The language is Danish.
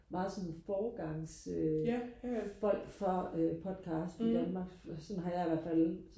meget sådan forgangs øh folk for øh podcast i Danmark sådan har jeg i hvertfald